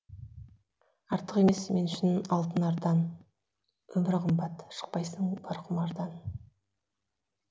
артық емес мен үшін алтын ардан өмір қымбат шықпайсың бар құмардан